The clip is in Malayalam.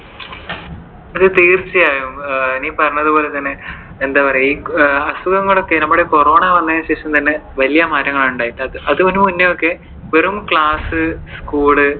അതെ തീർച്ചയായും. നീ പറഞ്ഞതുപോലെ തന്നെ എന്താ പറയുവാ ഈ അസുഖങ്ങളൊക്കെ നമ്മുടെ corona വന്നതിനു ശേഷം തന്നെ വലിയ മാറ്റങ്ങൾ ആണ് ഉണ്ടായിട്ടുള്ളത്. അതിനു മുന്നേ ഒക്കെ വെറും class, school